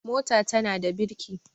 mota tana da birki